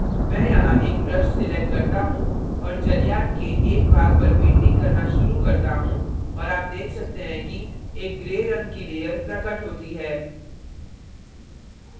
मैं यहाँ एक brush select करता हूँ और जलयान के एक भाग पर painting करना शुरू करता हूँ और आप देख सकते हैं कि एक gray रंग की layer प्रकट होती है